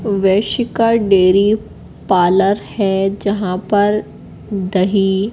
वैश्य का dairy parlour है जहां पर दही--